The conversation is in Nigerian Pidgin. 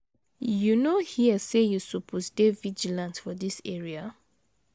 You no hear say you suppose dey vigilant for dis area?